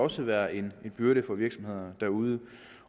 også være en byrde for virksomhederne derude